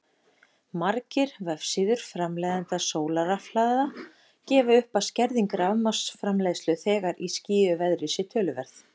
Margir vefsíður framleiðenda sólarrafhlaða gefa upp að skerðing rafmagnsframleiðslu þegar í skýjuðu veðri sé töluverð.